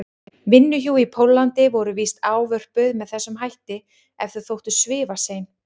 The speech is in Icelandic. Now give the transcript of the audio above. vinnuhjú í Póllandi voru víst ávörpuð með þessum hætti ef þau þóttu svifasein.